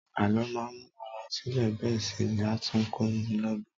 Àló máa ń mú ara sile bẹ́ẹ̀ sì ni a tún kó ni lọgbọ́n.